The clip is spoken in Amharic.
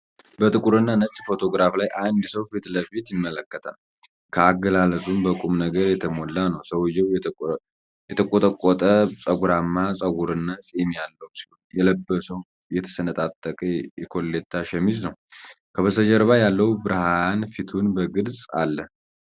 በጥቁር እና ነጭ ፎቶግራፍ ላይ፣ አንድ ሰው ፊት ለፊት ይመለከታል፣ አገላለጹም በቁም ነገር የተሞላ ነው። ሰውዬው የተንቆጠቆጠ፣ ጠጉራማ ፀጉርና ፂም ያለው ሲሆን፣ የለበሰው የተሰነጣጠቀ የኮሌታ ሸሚዝ ነው። ከበስተጀርባ ያለው ብርሃን ፊቱን በግልጽ አለ።